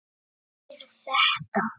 Eftir þetta.